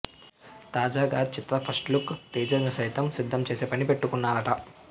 తాజాగా చిత్ర first look teaser ను సైతం సిద్ధం చేసే పని పెట్టుకున్నారట